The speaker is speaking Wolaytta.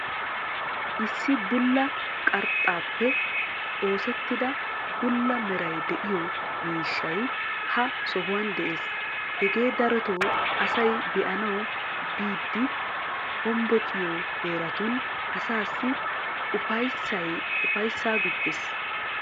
issi bulla qarxxaappe oosettida bulla meray diyo miishshay ha sohuwan des. hegee darotoo asay be'anawu biidi hombbociyo heeratun asaassi upayisaa gujees.